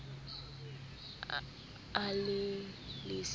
a ne a le siyo